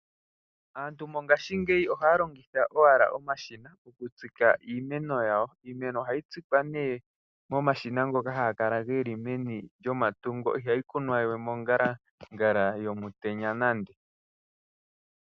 Aantu mongashingeyi ohaya longitha owala omashina okutsika iimeno yawo. Iimeno ohayi tsikwa ne momashina ngoka haga kala geli meni lyomatungo ihayi kunwa we mongalangala yomutenya nande.